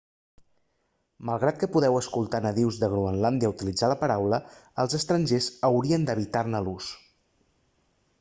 malgrat que podeu escoltar nadius de groenlàndia utilitzant la paraula els estrangers haurien d'evitar-ne l'ús